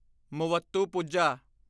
Muvattupuzha